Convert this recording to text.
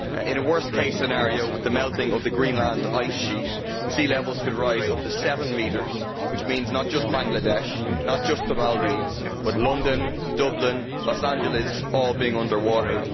In a worst case scenario with the melting of the Greenland ice sheet, sea levels could rise up to seven metres, which means not just Bangladesh, not just the Maldives, but London, Dublin and Los Angeles all being under water.